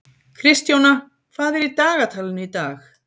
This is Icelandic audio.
Kristjóna, hvað er í dagatalinu í dag?